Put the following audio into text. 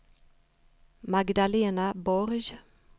Magdalena Borg